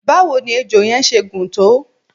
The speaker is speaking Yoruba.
báwo ni ejò yẹn ṣe gùn tó?